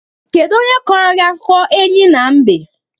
Kedu onye kọrọ gị akụkọ enyí na mbe?